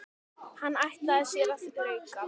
Hann ætlaði sér að þrauka.